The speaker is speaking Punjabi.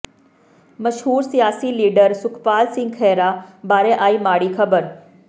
ਮਸ਼ਹੂਰ ਸਿਆਸੀ ਲੀਡਰ ਸੁਖਪਾਲ ਸਿੰਘ ਖਹਿਰਾ ਬਾਰੇ ਆਈ ਮਾੜੀ ਖਬਰ